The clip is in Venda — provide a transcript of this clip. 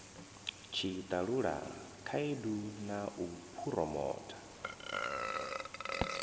tshiṱalula khaedu na u phuromotha